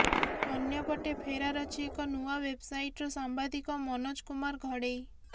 ଅନ୍ୟପଟେ ଫେରାର ଅଛି ଏକ ନୂଆ ୱେବସାଇଟ୍ର ସାମ୍ବାଦିକ ମନୋଜ କୁମାର ଘଡେଇ